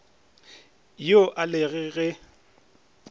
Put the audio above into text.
yo a le ge e